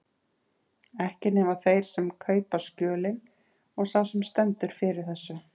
Ekki nema þeir sem kaupa skjölin og sá sem stendur fyrir þessu.